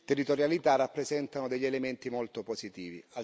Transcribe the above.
territorialità, rappresentano degli elementi molto positivi.